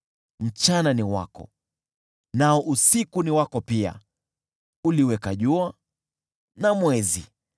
Mchana ni wako, nao usiku ni wako pia, uliziweka jua na mwezi.